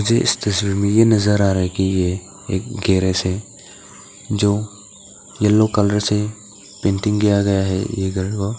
मुझे इस तस्वीर में ये नजर आ रहा है कि ये एक गेरेज है जो येलो कलर से पेंटिंग किया गया है ये घर को।